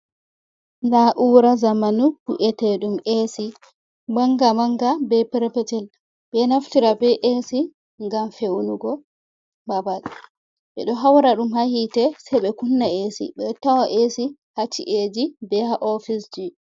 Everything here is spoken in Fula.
Nda na'ura zamanu wi’ete ɗum AC. Manga-manga ɓe petel-petel. Ɓeɗo naftira be AC ngam fe’unugo babal, ɓeɗo haura ɗum ha hite se be kunna AC ɓeɗo tawa AC ha ci’eji be ha office.